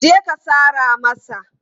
Je ka sara masa!